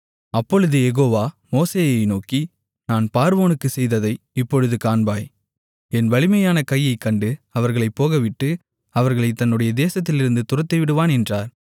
அப்பொழுது யெகோவா மோசேயை நோக்கி நான் பார்வோனுக்குச் செய்வதை இப்பொழுது காண்பாய் என் வலிமையான கையைக் கண்டு அவர்களைப் போகவிட்டு அவர்களைத் தன்னுடைய தேசத்திலிருந்து துரத்திவிடுவான் என்றார்